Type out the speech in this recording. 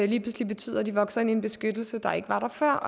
lige pludselig betyder at de vokser ind i en beskyttelse der ikke var der før